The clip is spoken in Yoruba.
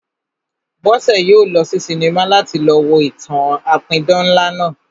Bọ́sẹ̀ yóò lọ sí sinimá láti lọ wo ìtàn-an apidán ńlá náà